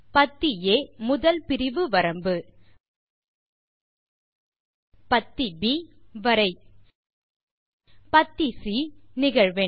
பத்தி ஆ முதல் பிரிவு வரம்பு பத்தி ப் வரை160 பத்தி சி நிகழ்வெண்